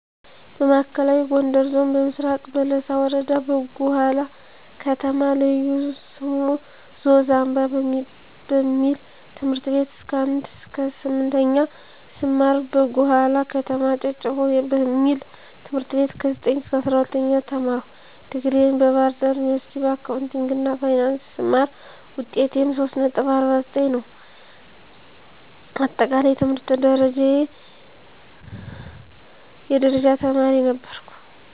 በማዕከላዊ ጎንደር ዞን በምስራቅ በለሳ ወረዳ በጉሃላ ከተማ ልዩ ስሙ ዞዝ አምባ በሚበል ት/ቤት ከ1ከ_8ኛ ስማር በጉሃላ ከተማ ጨጭሆ በሚበል ት/ቤት ከ9ከ_12ኛ ተማርሁ ዲግሪየን በባህርዳር ዩኒበርስቲ በአካውንቲንግ እና ፋይናንስ ስማር ውጤቴም 3.49 ነው አጠቃለይ የትምህርት ደረጃየ የደረጃ ተማሪ ነበርሁ።